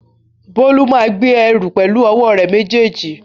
Bólú máa gbé ẹrù pẹ̀lú ọwọ́ rẹ̀ méjèèjì